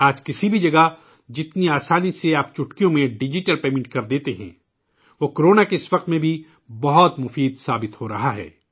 آج کسی بھی جگہ جتنی آسانی سے آپ چٹکیوں میں ڈیجیٹل ادائیگی کر دیتے ہیں، وہ کو رونا کی اس گھڑی میں بھی بہت کارگر ثابت ہو رہی ہے